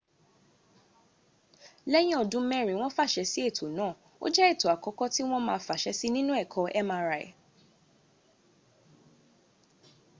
lẹ́yìn ọdún mẹ́rin wọ́n fàṣe sí ẹ̀tọ́ náà ó jẹ́ ẹ̀tọ́ àkọ́kọ́ tí wọ́n ma fàṣę sí nínú ẹ̀kọ mri